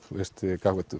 gagnvart